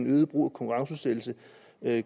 øget brug af konkurrenceudsættelse